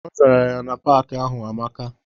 Ọ zara ya na paaki ahụ amaka.